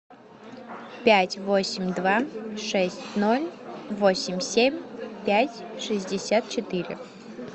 пять восемь два шесть ноль восемь семь пять шестьдесят четыре